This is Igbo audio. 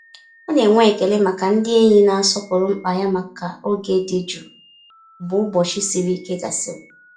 Ọ na-enwe ekele maka ndị enyi na-asọpụrụ mkpa ya maka oge dị jụụ mgbe ụbọchị siri ike gasịrị.